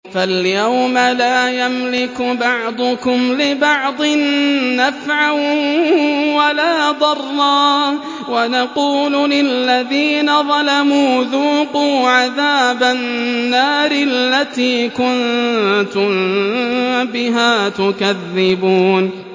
فَالْيَوْمَ لَا يَمْلِكُ بَعْضُكُمْ لِبَعْضٍ نَّفْعًا وَلَا ضَرًّا وَنَقُولُ لِلَّذِينَ ظَلَمُوا ذُوقُوا عَذَابَ النَّارِ الَّتِي كُنتُم بِهَا تُكَذِّبُونَ